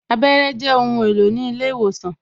Abẹ́rẹ́ Jẹ ohun èlò ní ilé ìwòsàn